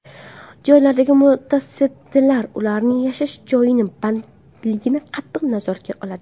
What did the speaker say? Joylardagi mutasaddilar ularning yashash joyini, bandligini qattiq nazoratga oladi.